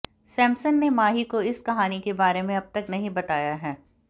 सैमसन ने माही को उस कहानी के बारे में अब तक नहीं बताया है